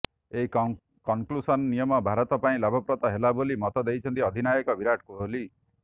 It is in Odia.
ଏହି କନ୍କୁସନ୍ ନିୟମ ଭାରତ ପାଇଁ ଲାଭପ୍ରଦ ହେଲା ବୋଲି ମତ ଦେଇଛନ୍ତି ଅଧିନାୟକ ବିରାଟ କୋହଲି